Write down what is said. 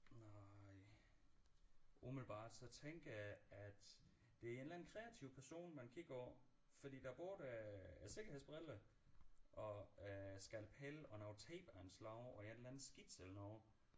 Nej umiddelbart så tænker jeg at det er en eller anden kreativ person man kigger på fordi der bor da sikkerhedsbriller og øh skalpel og noget tape af en slags og en eller anden skitse af noget